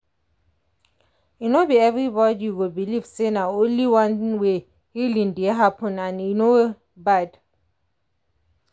e no be everybody go believe say na only one way healing dey happen and e no bad.